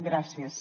gràcies